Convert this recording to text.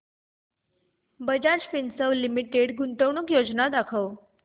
Bajaj Finserv limited गुंतवणूक योजना दाखव